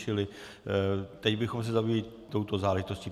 Čili teď bychom se zabývali touto záležitostí.